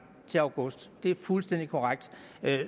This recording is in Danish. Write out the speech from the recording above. til august det er fuldstændig korrekt